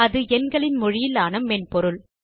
அது எண்களின் மொழியிலான மென்பொருள்